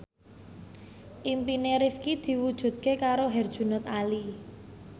impine Rifqi diwujudke karo Herjunot Ali